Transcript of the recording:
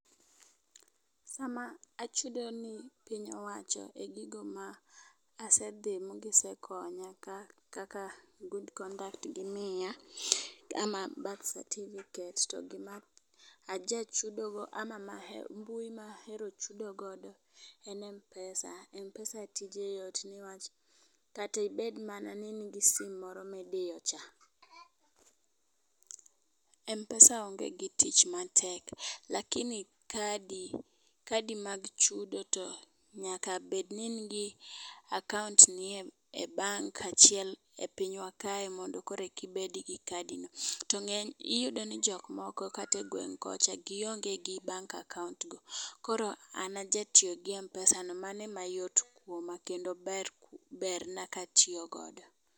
Sama achudo ne piny iwacho e gigo ma asedhi ma gisekonya kaka good conduct gimiya ama birth certificate, gima aja chudo go ama mbui mahero chudo go en mpesa, mpesa tije yot newach kata ibed mana gi sim moro midiyo cha, mpesa onge gi tich matek. Lakini kadi kadi mag chudo to nyaka bed ni nigi akaunt ni e e bank achiel e pinywa kae monde ki bed gi kadi no. To ng'eny iyudo ni jok moko kate gweng kocha gionge gi bank akaunt go koro an aja tiyo gi mpesa mane ma yot kuoma kendo berna katiyo godo.